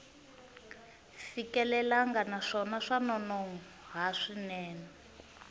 fikelelangi naswona swa nonoha swinene